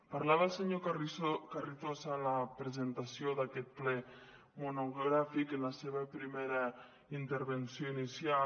parlava el senyor carrizosa a la presentació d’aquest ple monogràfic en la seva primera intervenció inicial